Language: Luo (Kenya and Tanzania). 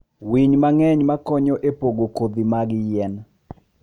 winy mang'eny makonyo e pogo kodhi mag yien.